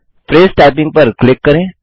phrase typing पर click करें